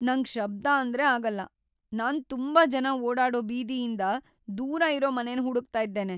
Client: ನಂಗ್ ಶಬ್ಧ ಅಂದ್ರೆ ಆಗಲ್ಲ. "ನಾನ್ ತುಂಬಾ ಜನ ಓಡಾಡೋ ಬೀದಿಯಿಂದ್ ದೂರ ಇರೋ ಮನೆನ ಹುಡುಕ್ತಾ ಇದ್ದೇನೆ .